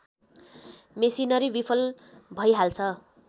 machinery विफल भइहाल्छ